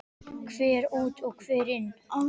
Hver út og hver inn?